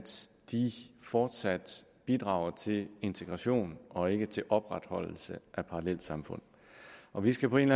de fortsat bidrager til integration og ikke til opretholdelse af parallelsamfund og vi skal på en